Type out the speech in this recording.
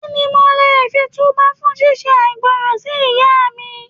Kí ni mo lè fi tú bá fún ṣí ṣe àìgbọràn sí Ìyá mi.